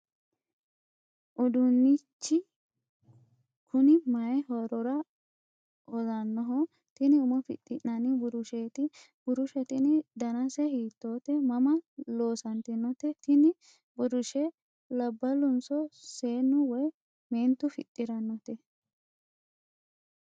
uduunnichi kuni mayi horora hosannoho? tini umo fixxinanni burusheeti? burushe tini danase hiittoote? mama loosantinote? tini burushe labbalunso seennu woy meentu fixxirannote?